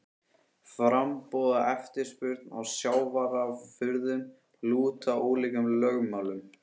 Framboð og eftirspurn á sjávarafurðum lúta ólíkum lögmálum.